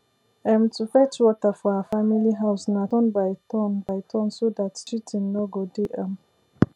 um to fetch water for our family house na turn by turn by turn so dat cheatin nor go dey um